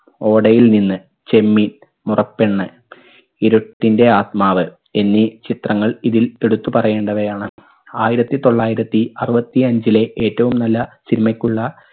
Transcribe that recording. ഓടയിൽ നിന്ന്, ചെമ്മീൻ, മുറപ്പെണ്ണ്, ഇരുട്ടിന്റെ ആത്മാവ് എന്നീ ചിത്രങ്ങൾ ഇതിൽ എടുത്തു പറയേണ്ടവയാണ്. ആയിരത്തി തൊള്ളായിരത്തി അറുവത്തി അഞ്ചിലെ ഏറ്റവും നല്ല cinema ക്കുള്ള